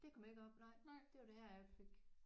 Det kom ikke op nej. Det var det her jeg fik